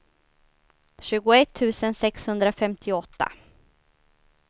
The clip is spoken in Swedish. tjugoett tusen sexhundrafemtioåtta